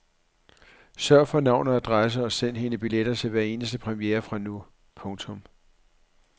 Sørg for navn og adresse og send hende billetter til hver eneste premiere fra nu. punktum